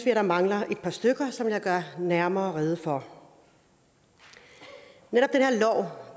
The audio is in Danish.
at der mangler et par stykker som jeg vil gøre nærmere rede for netop